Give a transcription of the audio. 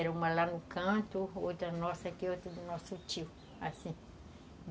Era uma lá no canto, outra nossa aqui e outra do nosso tio, assim.